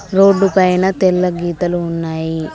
Road పైన తెల్ల గీతలు ఉన్నాయి.